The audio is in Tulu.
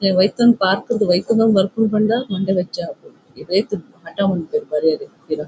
ಅಕ್ಲೆನ್ ಒಯಿತೊಂದು ಪಾರ್ಕ್ ರ್ದ್ ಒಯಿತೊಂದು ಬರ್ಪುನು ಪಂಡ ಮಂಡೆ ಬೆಚ್ಚ ಆಪುಂಡು ಏತ್ ಹಠ ಮನ್ಪುವೆರ್ ಬರ್ಯೆರೆ ಪಿರ.